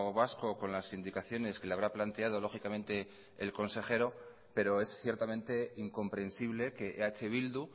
vasco con las indicaciones que le habrá planteado lógicamente el consejero pero es ciertamente incomprensible que eh bildu